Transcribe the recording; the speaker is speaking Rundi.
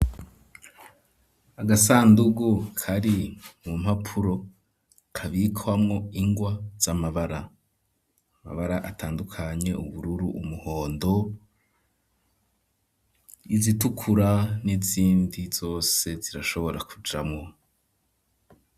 Agasandugu kari mu mpapuro kabikwamo ingwa z'amabara amabara atandukanye ubururu umuhondo izitukura n'izindi zose zirashobora kujamwo.